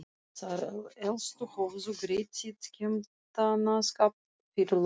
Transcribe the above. Þær elstu höfðu greitt sinn skemmtanaskatt fyrir löngu.